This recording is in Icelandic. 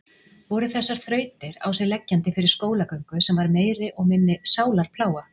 Voru þessar þrautir á sig leggjandi fyrir skólagöngu sem var meiri og minni sálarplága?